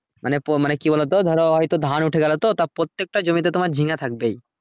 মানে কি বল তো ধরো হয়তো ধান উঠে গেলো তো তা প্রত্যেকটা জমিতে ঝিঙ্গা থাকবেই